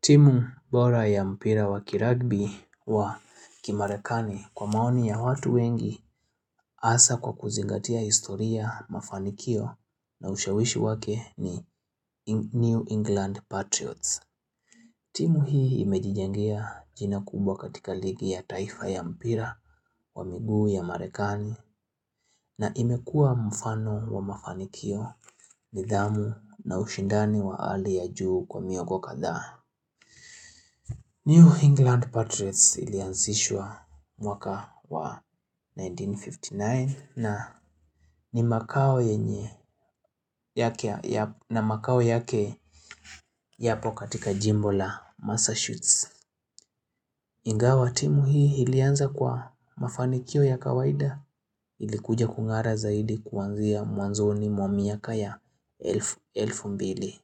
Timu bora ya mpira wa kirugby wa kimarekani kwa maoni ya watu wengi hasa kwa kuzingatia historia, mafanikio na ushawishi wake ni New England Patriots. Timu hii imejijengea jina kubwa katika ligi ya taifa ya mpira wa miguu ya Marekani na imekua mfano wa mafanikio nidhamu na ushindani wa hali ya juu kwa miongo kadhaa New England Patriots ilianzishwa mwaka wa 1959 na makao yake yapo katika jimbo la Massachusetts. Ingawa timu hii ilianza kwa mafanikio ya kawaida ilikuja kung'ara zaidi kuanzia mwanzoni mwa miaka ya 2000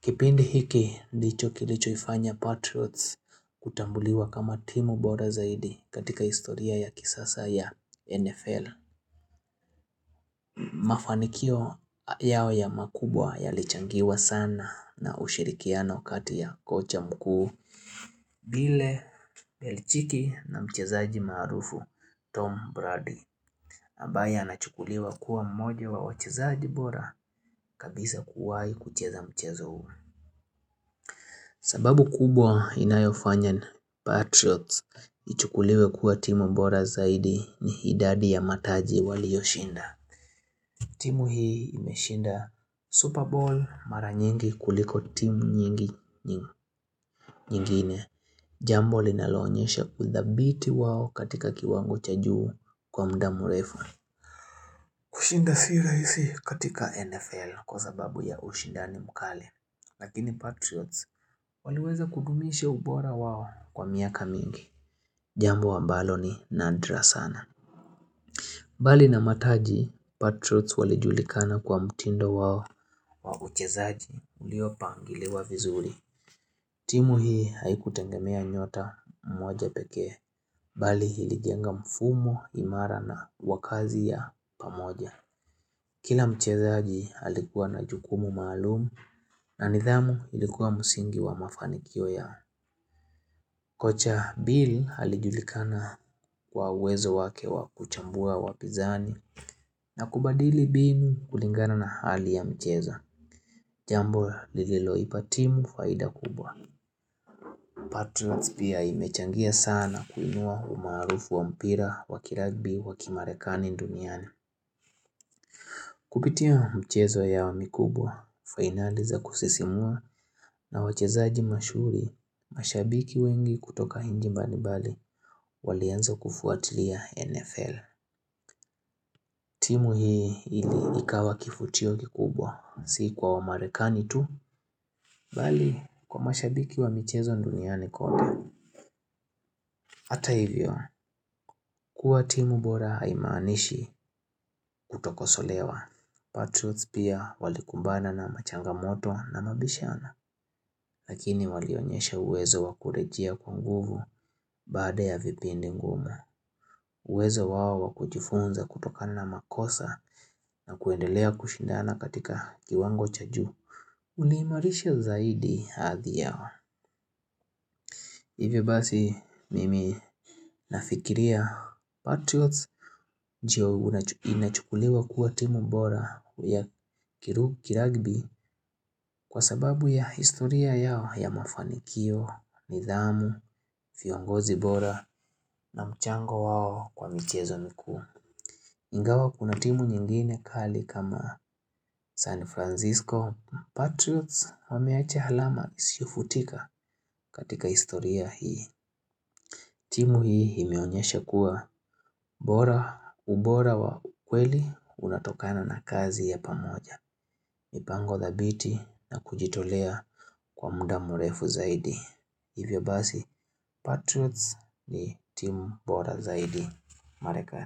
Kipindi hiki ndicho kilichoifanya Patriots kutambuliwa kama timu bora zaidi katika historia ya kisasa ya NFL Mafanikio yao ya makubwa yalichangiwa sana na ushirikiano kati ya kocha mkuu vile Belchiki na mchezaji maarufu Tom Brady ambaye anachukuliwa kuwa mmoja wa wachezaji bora kabisa kuwahi kucheza mchezo huu sababu kubwa inayofanya Patriots ichukuliwe kuwa timu bora zaidi ni idadi ya mataji waliyoshinda. Timu hii imeshinda Super Bowl mara nyingi kuliko timu nyingi nyingine. Jambo linaloonyesha udhabiti wao katika kiwango cha juu kwa muda mrefu kushinda si rahisi katika NFL kwa sababu ya ushindani mkali Lakini Patriots waliweza kudumisha ubora wao kwa miaka mingi Jambo ambalo ni nadra sana mbali na mataji, Patriots walijulikana kwa mtindo wao wa uchezaji uliopangiliwa vizuri. Timu hii haikutegemea nyota mmoja pekee bali ilijenga mfumo imara na wa kazi ya pamoja Kila mchezaji alikuwa na jukumu maalum na nidhamu ilikuwa mdingi wa mafanikio ya kocha Bill alijulikana kwa uwezo wake wa kuchambua wapinzani na kubadili mbinu kulingana na hali ya mchezo Jambo lililoipa timu faida kubwa Patrons pia imechangia sana kuinua umaarufu wa mpira wa kirugby wa kimarekani duniani Kupitia mchezo mikubwa, fainali za kusisimua na wachezaji mashuhuri, mashabiki wengi kutoka nchi mbalimbali walianza kufuatilia NFL. Timu hii ili ikawa kivutio kikubwa, si kwa Wamarekani tu, bali kwa mashabiki wa michezo duniani kote Hata hivyo, kuwa timu bora haimaanishi kutokosolewa. Patrots pia walikumbana na machangamoto na mabishano, lakini walionyesha uwezo wa kurejea kwa nguvu baada ya vipindi ngumu. Uwezo wao wa kujifunza kutokana na makosa na kuendelea kushindana katika kiwango cha juu Uliimarisha zaidi hadhi yao Hivyo basi mimi nafikiria Patriots inachukuliwa kuwa timu bora ya kirugby kwa sababu ya historia yao ya mafanikio, nidhamu, viongozi bora na mchango wao kwa michezo mikuu Ingawa kuna timu nyingine kali kama San Francisco, Patriots wameacha alama isiyofutika katika historia hii timu hii imeonyesha kuwa ubora wa ukweli unatokana na kazi ya pamoja mipango dhabiti na kujitolea kwa muda murefu zaidi Hivyo basi Patrots ni timu bora zaidi Marekani.